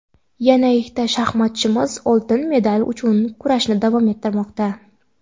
Yana ikkita shaxmatchimiz oltin medal uchun kurashni davom ettirmoqda.